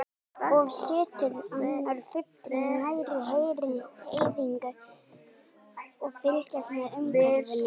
Oft situr annar fuglinn nærri hreiðrinu og fylgist með umhverfinu.